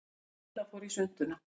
Lilla fór í svuntuna.